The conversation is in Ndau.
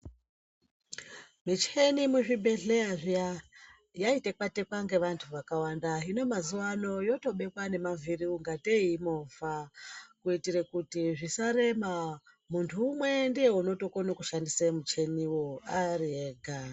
Micheni muzvibhehleya zviya yaitekwa-tekwa ngevantu vakawanda. Hino mazuvano yotobekwa nemavhiri ungatei imovha, kuitire kuti zvisarema. Muntu umwe ndiye unotokone kushandise muchiniwo ari ega.